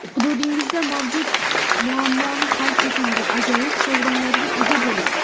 hududingizda mavjud muammoni hal eting va ajoyib sovrinlarga ega bo‘ling!.